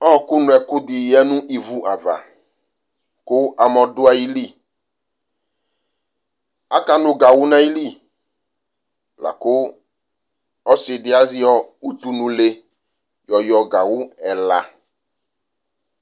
Ɔɔkʋnʋɛkʋ dɩyǝ nʋ ivʋava kʋ amɔ dʋayɩlɩ Akanʋ gawʋ n'ayɩlɩ lakʋ ɔsɩdɩ azɛ utunule yɔyɔ gawʋ ɛla